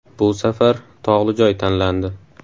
Bu safar tog‘li joy tanlandi.